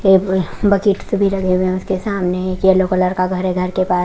ये बकेट सामने yellow colour का घर है घर के पा --